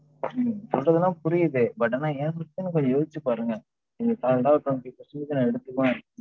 நீங்க சொல்றது எல்லாம் புரியுது, but ஆனா ஏன் பிரச்சனைய கொஞ்சம் யோசிச்சு பாருங்க. நீங்க solid ஆ twenty percentage நான் எடுத்துக்குவன்